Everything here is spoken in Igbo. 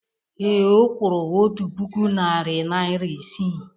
Ee, ọ kwụrụ otu puku narị naịra isii.